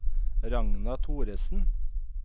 Ragna Thoresen